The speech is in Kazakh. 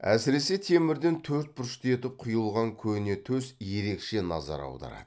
әсіресе темірден төрт бұрышты етіп құйылған көне төс ерекше назар аударады